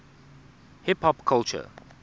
hip hop culture